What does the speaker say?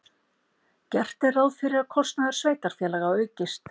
Gert er ráð fyrir að kostnaður sveitarfélaga aukist.